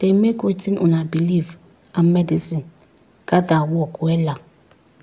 dey make wetin una believe and medicine gather work wella.